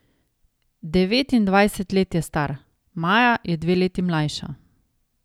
Devetindvajset let je star, Maja je dve leti mlajša.